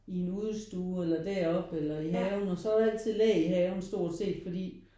I udestuen eller deroppe eller i haven og så er der egentlig altid læ i haven stort set fordi